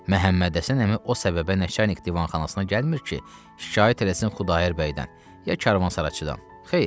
Məhəmməd Həsən əmi o səbəbə Nəçərnik divanxanasına gəlmir ki, şikayət eləsin Xudayar bəydən ya karvansaraçıdan.